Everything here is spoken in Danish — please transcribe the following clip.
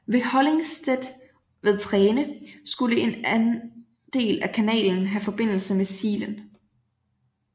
Ved Hollingstedt ved Treene skulle en anden del af kanalen have forbindelse med Slien